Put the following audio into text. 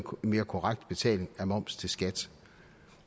mere korrekt betaling af moms til skat